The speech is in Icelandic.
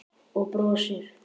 Og brosir.